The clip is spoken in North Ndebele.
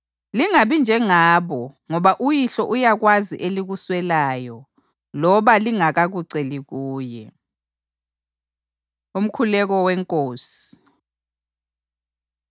Lingabi njengabo ngoba uYihlo uyakwazi elikuswelayo loba lingakakuceli kuye.” Umkhuleko WeNkosi